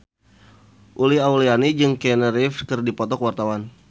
Uli Auliani jeung Keanu Reeves keur dipoto ku wartawan